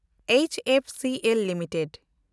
H F C L limited